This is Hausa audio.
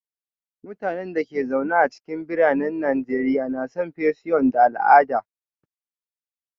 Mutanen da ke zaune a cikin biranen Najeriya na son fission da al'ada